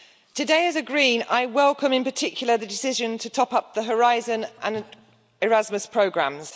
Today, as a Green, I welcome in particular the decision to top up the Horizon and Erasmus programmes.